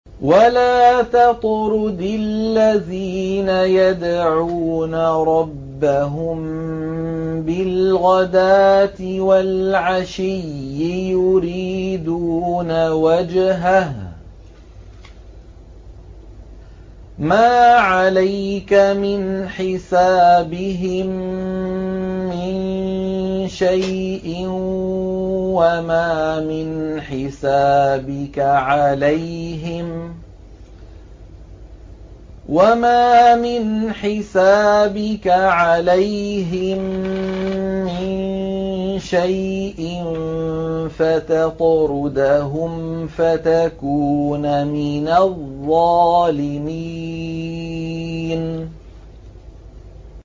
وَلَا تَطْرُدِ الَّذِينَ يَدْعُونَ رَبَّهُم بِالْغَدَاةِ وَالْعَشِيِّ يُرِيدُونَ وَجْهَهُ ۖ مَا عَلَيْكَ مِنْ حِسَابِهِم مِّن شَيْءٍ وَمَا مِنْ حِسَابِكَ عَلَيْهِم مِّن شَيْءٍ فَتَطْرُدَهُمْ فَتَكُونَ مِنَ الظَّالِمِينَ